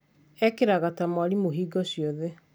ekĩraga ta mwarimũ hingo ciothe